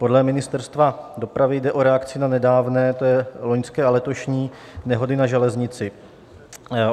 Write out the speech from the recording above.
Podle Ministerstva dopravy jde o reakci na nedávné - to je loňské a letošní - nehody na železnici.